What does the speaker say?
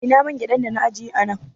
Ina man gyaɗan dana ajiye a nan